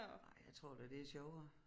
Nej jeg tror da det er sjovere